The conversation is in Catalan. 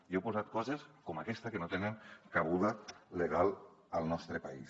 hi heu posat coses com aquesta que no tenen cabuda legal al nostre país